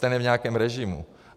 Ten je v nějakém režimu.